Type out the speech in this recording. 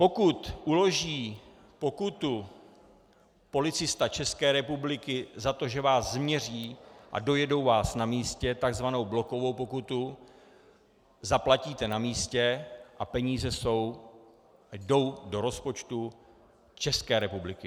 Pokud uloží pokutu policista České republiky za to, že vás změří, a dojedou vás na místě, takzvanou blokovou pokutu zaplatíte na místě a peníze jdou do rozpočtu České republiky.